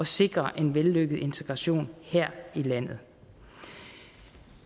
sikre en vellykket integration her i landet